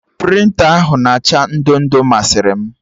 Prịnta ahụ na acha ndo ndo masịrị m